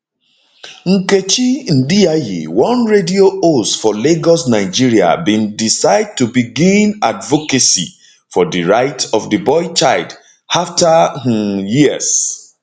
nkechi ndiaye one radio host for lagos nigeria bin decide to begin begin advocacy for di rights of di boy child afta um years